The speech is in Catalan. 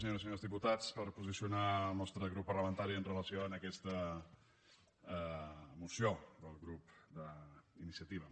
senyores i senyors diputats per posicionar el nostre grup parlamentari amb relació a aquesta moció del grup d’iniciativa